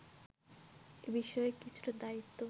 এ বিষয়ে কিছুটা দায়িত্ব